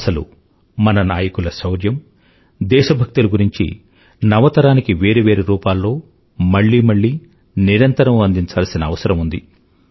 అసలు మన నాయకుల శౌర్యం దేశభక్తిల గురించి నవతరానికి వేరు వేరు రూపాల్లో మళ్ళీ మళ్ళీ నిరంతరం అండింఛాల్సిన అవసరం ఉంది